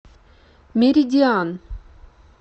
меридиан